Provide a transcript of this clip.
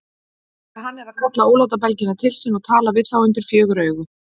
Þegar hann er að kalla ólátabelgina til sín og tala við þá undir fjögur augu.